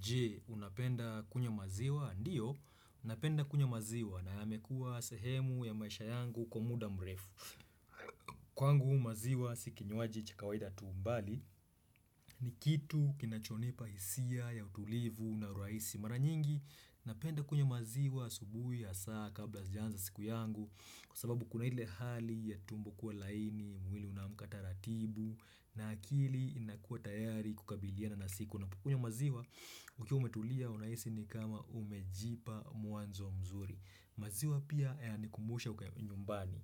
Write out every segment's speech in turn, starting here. Je, unapenda kunywa maziwa? Ndiyo, napenda kunywa maziwa na yamekuwa sehemu ya maisha yangu kwa muda mrefu. Kwangu maziwa si kinywaji cha kawaida tu bali ni kitu kinachonipa hisia ya utulivu na urahisi mara nyingi, napenda kunywa maziwa asubuhi ya saa kabla sijaanza siku yangu kwa sababu kuna ile hali ya tumbo kuwa laini, mwili unaamka taratibu na akili inakuwa tayari kukabiliana na siku. Unapokunywa maziwa, ukiwa umetulia, unahisi ni kama umejipa mwanzo mzuri. Maziwa pia, yananikumbusha uka nyumbani.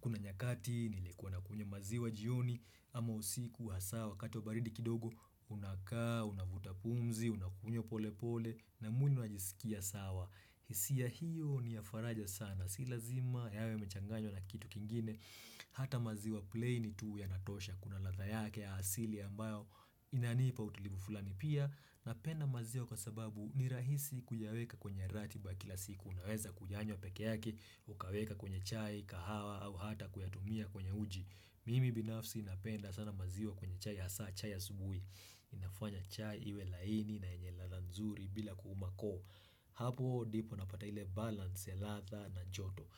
Kuna nyakati, nilikuwa nakunywa maziwa jioni, ama usiku, hasa wakati wa baridi kidogo, unakaa, unavuta pumzi, unakunywa polepole, na mwili unajisikia sawa. Hisia hiyo ni ya faraja sana. Si lazima yawe yamechanganywa na kitu kingine. Hata maziwa plain tu yanatosha kuna ladha yake ya asili ambayo inanipa utulivu fulani pia Napenda maziwa kwa sababu ni rahisi kuyaweka kwenye ratiba ya kila siku unaweza kuyanywa peke yake Ukaweka kwenye chai, kahawa au hata kuyatumia kwenye uji Mimi binafsi napenda sana maziwa kwenye chai, hasa chai ya asubuhi inafanya chai iwe laini na yenye ladha nzuri bila kuuma koo. Hapo ndipo napata ile balance ya ladha na joto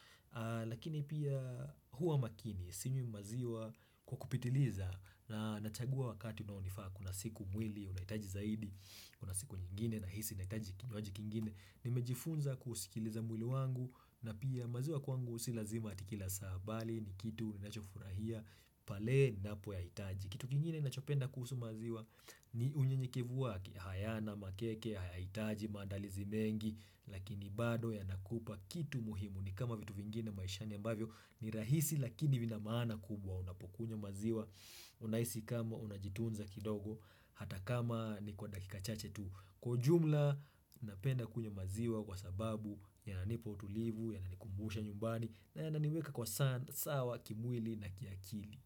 Lakini pia huwa makini sinywi maziwa kwa kupitiliza na nachagua wakati unaonifaa kuna siku mwili unahitaji zaidi Kuna siku nyingine nahisi nahitaji kinywaji kingine Nimejifunza kusikiliza mwili wangu na pia maziwa kwangu si lazima ati kila saa bali ni kitu ninachofurahia pale ninapoyahitaji Kitu kingine ninachopenda kuhusu maziwa ni unyenyekevu wake hayana makeke, hayahitaji maandalizi mengi Lakini bado yanakupa kitu muhimu ni kama vitu vingine maishani ambavyo ni rahisi lakini vina maana kubwa unapokunywa maziwa Unahisi kama unajitunza kidogo hata kama ni kwa dakika chache tu Kwa ujumla napenda kunywa maziwa kwa sababu yananipa utulivu yananikumbusha nyumbani na yananiweka kwa sawa kimwili na kiakili.